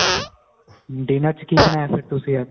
and dinner ਚ ਕੀ ਬਣਾਇਆ ਫ਼ੇਰ ਤੁਸੀਂ ਅੱਜ